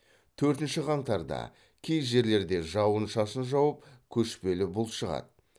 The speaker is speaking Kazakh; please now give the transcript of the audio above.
төртінші қаңтарда кей жерлерде жауын шашын жауып көшпелі бұлт шығады